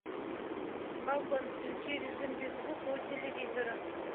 балкон включи режим без звука у телевизора